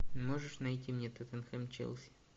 можешь найти мне тоттенхэм челси